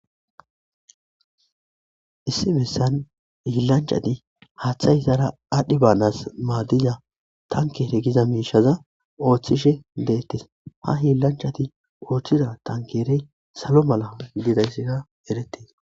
Issi bessani hilanchchatti haththayi izara adhdhi banas madiza tanikere gize mishshaza oththishshe detees.haa hilanchchatti oththiza tankereyi salo mala dizayissikka eretees.